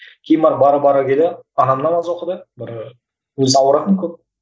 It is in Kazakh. кейін барып бара бара келе анам намаз оқыды бір өзі ауыратын көп